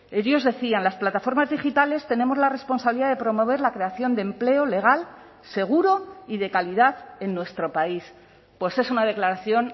ellos decían las plataformas digitales tenemos la responsabilidad de promover la creación de empleo legal seguro y de calidad en nuestro país pues es una declaración